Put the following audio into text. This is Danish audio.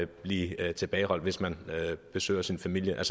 blive tilbageholdt hvis man besøger sin familie